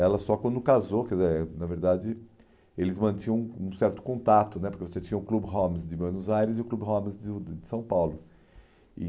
Ela só quando casou, quer dizer eh, na verdade, eles mantinham um certo contato né, porque você tinha o Club Homes de Buenos Aires e o Club Homes de de São Paulo. E